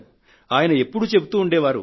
ఆయన ఎప్పుడూ చెబుతూ ఉండేవారు